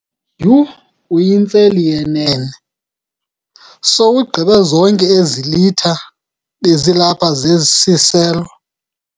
Yhu! Uyintseli yenene, sowuzigqibe zonke ezi litha bezilapha zesiselo.